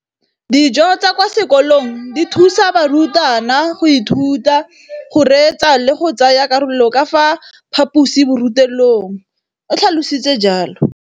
Dijo tsa kwa sekolong dithusa barutwana go ithuta, go reetsa le go tsaya karolo ka fa phaposiborutelong, o tlhalositse jalo.